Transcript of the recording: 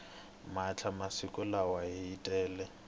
mpahla masiku lawa yi tele